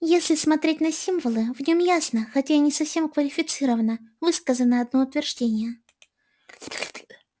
если смотреть на символы в нем ясно хотя и не совсем квалифицированно высказано одно утверждение